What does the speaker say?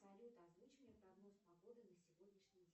салют озвучь мне прогноз погоды на сегодняшний день